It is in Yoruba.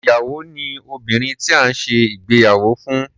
Ìyàwó ni obìnrin tí à ń ṣe ìgbéyàwó fún.